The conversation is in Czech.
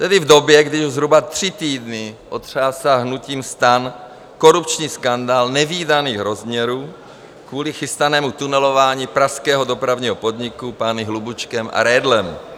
Tedy v době, kdy už zhruba tři týdny otřásá hnutím STAN korupční skandál nevídaných rozměrů kvůli chystanému tunelování pražského Dopravního podniku pány Hlubučkem a Redlem.